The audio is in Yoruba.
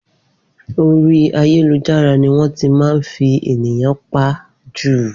Orí ayélujára ni wọ́n ti máa ń fi ènìyàn pa jù